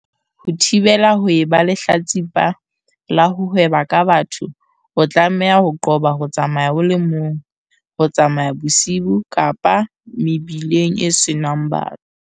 Ho thibela ho eba lehlatsi pa la ho hweba ka batho o tlameha ho qoba ho tsamaya o le mong, ho tsamaya bosiu kapa mebileng e senang batho.